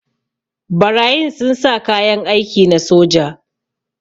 Barayin sun sa kayan aiki na soja.